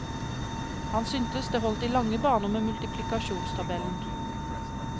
Han syntes det holdt i lange baner med multiplikasjonstabellen.